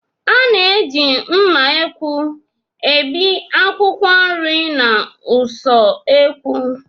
A na-eji mma ekwu ebi akwụkwọ nri n'ụsọekwu